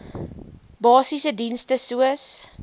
basiese dienste soos